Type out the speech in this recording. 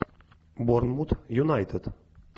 борнмут юнайтед